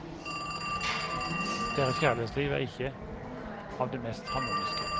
Deres kjærlighetsliv er ikke av det mest harmoniske.